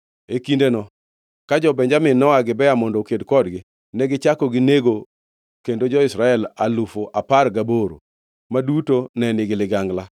E kindeno, ka jo-Benjamin noa Gibea mondo oked kodgi, negichako ginego kendo jo-Israel alufu apar gaboro, ma duto ne nigi ligangla.